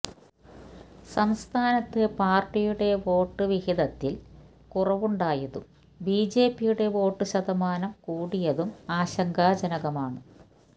സംസ്ഥാനത്ത് പാര്ട്ടിയുടെ വോട്ട് വിഹിതത്തില് കുറവുണ്ടായതും ബി ജെ പിയുടെ വോട്ടു ശതമാനം കൂടിയതും ആശങ്കാജനകമാണ്